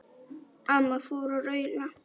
Amma fór að raula.